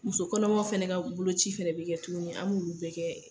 Muso kɔnɔmaw fɛnɛ ka boloci fɛnɛ be kɛ tuguni an m'olu bɛɛ kɛ